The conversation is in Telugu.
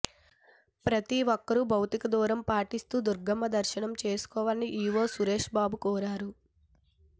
ప్రతి ఒక్కరూ భౌతికదూరం పాటిస్తూ దుర్గమ్మ దర్శనం చేసుకోవాలని ఈవో సురేష్బాబు కోరారు